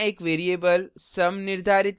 यहाँ एक variable sum निर्धारित करें